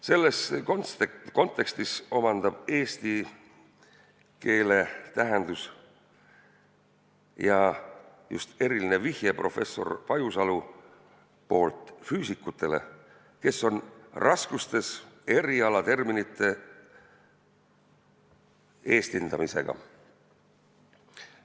Selles kontekstis omandab eesti keel tähenduse – ja just eriline vihje professor Pajusalu poolt – füüsikutele, kes on raskustes erialaterminite eestindamisega.